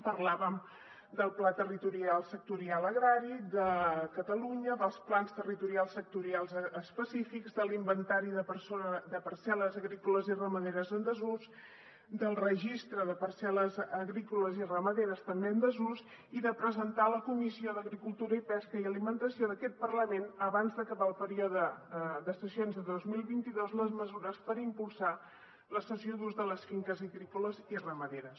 parlàvem del pla territorial sectorial agrari de catalunya dels plans territorials sectorials específics de l’inventari de parcel·les agrícoles i ramaderes en desús del registre de parcel·les agrícoles i ramaderes també en desús i de presentar a la comissió d’agricultura i pesca i alimentació d’aquest parlament abans d’acabar el període de sessions de dos mil vint dos les mesures per impulsar la cessió d’ús de les finques agrícoles i ramaderes